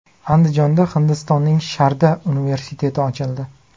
Andijonda Hindistonning Sharda universiteti ochildi .